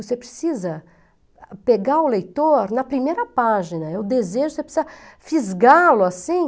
Você precisa pegar o leitor na primeira página, é o desejo, você precisa fisgá-lo assim.